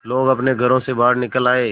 लोग अपने घरों से बाहर निकल आए